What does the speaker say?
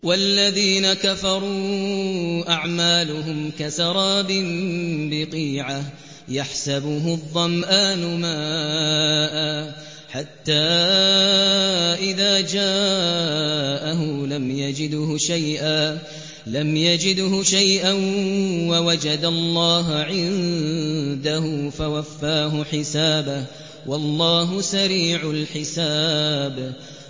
وَالَّذِينَ كَفَرُوا أَعْمَالُهُمْ كَسَرَابٍ بِقِيعَةٍ يَحْسَبُهُ الظَّمْآنُ مَاءً حَتَّىٰ إِذَا جَاءَهُ لَمْ يَجِدْهُ شَيْئًا وَوَجَدَ اللَّهَ عِندَهُ فَوَفَّاهُ حِسَابَهُ ۗ وَاللَّهُ سَرِيعُ الْحِسَابِ